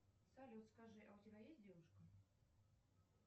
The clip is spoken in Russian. салют скажи а у тебя есть девушка